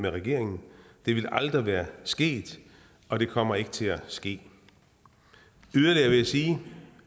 regeringen det ville aldrig være sket og det kommer ikke til at ske yderligere vil jeg sige